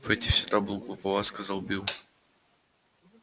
фэтти всегда был глуповат сказал билл